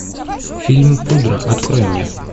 фильм пудра открой мне